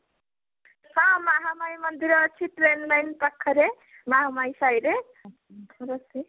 ହଁ ମହାମାୟି ମନ୍ଦିର ଅଛି train line ପାଖରେ ମହାମାୟି ସାଇ ରେ